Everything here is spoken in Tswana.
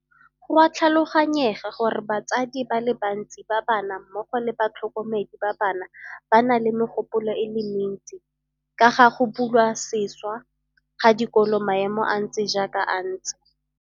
Go a tlhaloganyega gore batsadi ba le bantsi ba bana mmogo le batlhokomedi ba bana ba na le megopolo e le mentsi ka ga go bulwa sešwa ga dikolo maemo a ntse jaaka a ntse.